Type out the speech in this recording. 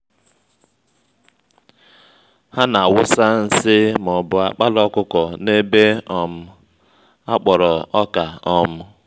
ha na-awụsa nsị ma ọbu àkpala ọkụkọ n'ebe um akpọrọ ọka um